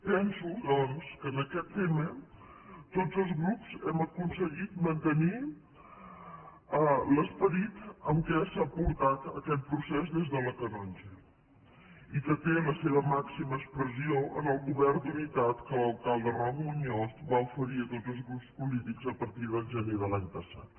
penso doncs que en aquest tema tots els grups hem aconseguit mantenir l’esperit amb què s’ha portat aquest procés des de la canonja i que té la seva màxima expressió en el govern d’unitat que l’alcalde roc muñoz va oferir a tots els grups polítics a partir del gener de l’any passat